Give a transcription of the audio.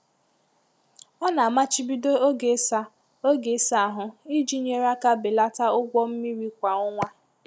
Ọ na-amachibido oge ịsa oge ịsa ahụ iji nyere aka belata ụgwọ mmiri kwa ọnwa.